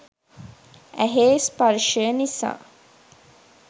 ඇහේ ස්පර්ශය නිසා